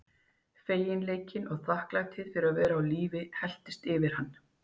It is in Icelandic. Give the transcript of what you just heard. Feginleikinn og þakklætið fyrir að vera á lífi helltist yfir hann.